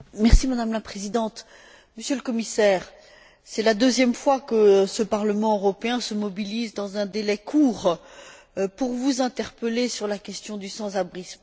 Madame la Présidente, Monsieur le Commissaire, c'est la deuxième fois que le Parlement européen se mobilise dans un délai court pour vous interpeller sur la question du sans abrisme.